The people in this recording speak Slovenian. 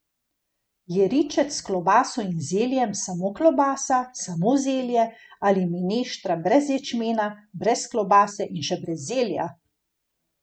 Je ričet s klobaso in zeljem, samo klobasa, samo zelje, ali mineštra brez ječmena, brez klobase in še brez zelja?